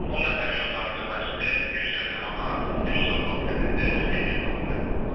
10 nəfərlik otağın depoziti 250 manat, üç saat vaxt limiti menyu daxil.